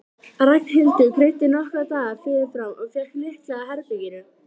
Ragnhildur greiddi nokkra daga fyrirfram og fékk lykla að herberginu.